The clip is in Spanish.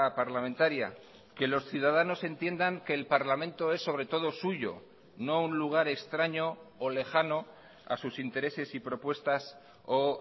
parlamentaria que los ciudadanos entiendan que el parlamento es sobre todo suyo no un lugar extraño o lejano a sus intereses y propuestas o